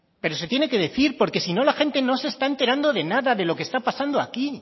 pero se tiene que decir porque si no la gente no se está enterando de nada de lo que está pasando aquí